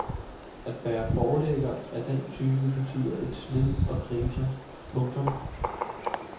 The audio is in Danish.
At være forlægger af den type betyder et slid og kriser. punktum